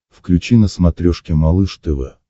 включи на смотрешке малыш тв